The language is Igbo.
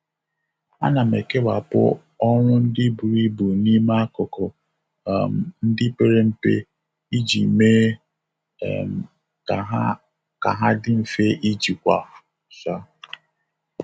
A na m ekewapụ ọrụ ndị buru ibu n'ime akụkụ um ndị pere mpe iji mee um ka ha ka ha dị mfe ijikwa. um